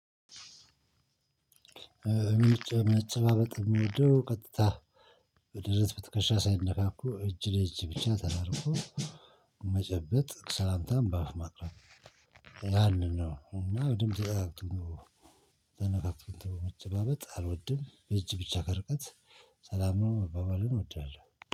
እኔን እጨባበጥ ነው ቀጥታ በደረት ብትከሻ ሳይነካኩ እጅ ለእጅ ብቻ ተራርኩ። መጨበጥ ሰላምታም በአፍ ማቅረብ። ያንን ነው እና በድምጽ ተነካክቶ ተጨባብጦ አልወድም። እጅ ብቻ ከርቀት ሰላም ነው መባባልን እወዳለሁ